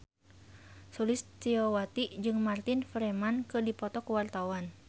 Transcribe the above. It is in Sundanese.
Sulistyowati jeung Martin Freeman keur dipoto ku wartawan